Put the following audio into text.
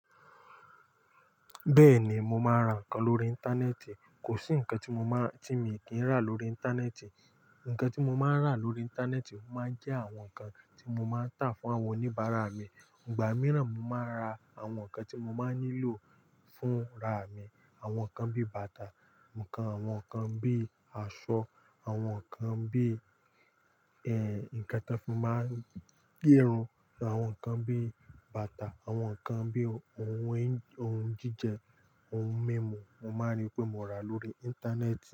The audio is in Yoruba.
Bẹ́ẹ̀ni, mo máa ń ra nǹkan lórí Íńtánẹ́ẹ̀tì. Kò sí nǹkan tí mo máa, tí mi kì í rà lórí Íńtánẹ́ẹ̀tì. Nǹkan tí mo máa ń rà lórí Íńtánẹ́ẹ̀tì máa ń jẹ́ àwọn nǹkan tí mo máa ń tà fún àwọn oníbàárà mi. Ìgbà míràn mo máa ń ra àwọn nǹkan tí mo máa nílò fún ra mi. Àwọn nǹkan bí bàtà, nǹkan, àwọn nǹkan bí aṣọ, àwọn nǹkan bí, nǹkan tí a fi máa ń gẹrun, àwọn nǹkan bí bàtà, àwọn nǹkan bí ohun jíjẹ, ohun mímu. Mo máa rí pé mo rà lórí Íńtánẹ́ẹ̀tì.